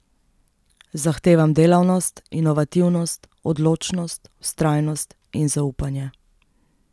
Zahtevam delavnost, inovativnost, odločnost, vztrajnost in zaupanje.